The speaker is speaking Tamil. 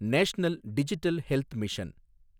national digital health mission